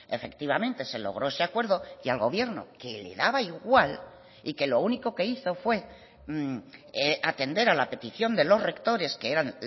efectivamente se logró ese acuerdo y al gobierno que le daba igual y que lo único que hizo fue atender a la petición de los rectores que eran